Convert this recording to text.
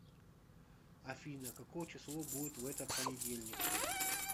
афина какое число будет в этот понедельник